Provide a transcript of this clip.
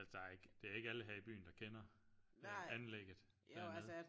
Altså der er ikke det er ikke alle her i byen der kender anlægget dernede